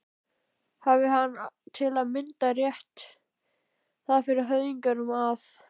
Hafi hann til að mynda frétt það af höfðingjum að